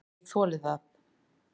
Ég þoli það.